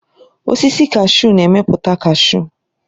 Osisi kashu na-emepụta kashu.